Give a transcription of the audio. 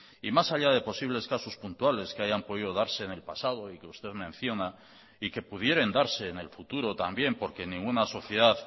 y más allá de posibles casos puntuales que hayan podido darse en el pasado y que usted menciona y que pudieran darse en el futuro también porque ninguna sociedad